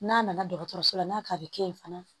N'a nana dɔgɔtɔrɔso la n'a ka a bɛ kɛ yen fana